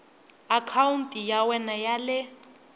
akhawunti ya wena ya le